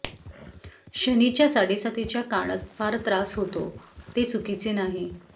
शनिच्या साडेसातीच्या काणत फार त्रास होतो ते चुकीचे नाही